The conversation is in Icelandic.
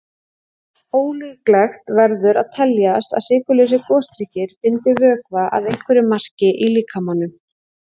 Ólíklegt verður að teljast að sykurlausir gosdrykkir bindi vökva að einhverju marki í líkamanum.